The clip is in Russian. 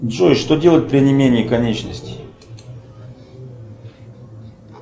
джой что делать при онемении конечностей